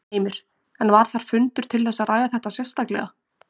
Heimir: En var þar fundur til þess að ræða þetta sérstaklega?